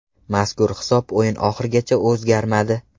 Mazkur hisob o‘yin oxirigacha o‘zgarmadi.